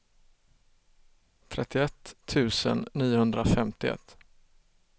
trettioett tusen niohundrafemtioett